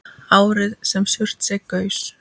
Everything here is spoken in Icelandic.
Árið sem Surtsey gaus.